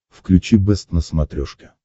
включи бэст на смотрешке